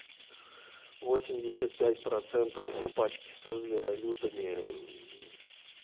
восемьдесят пять процентов в пачке со зверолюдами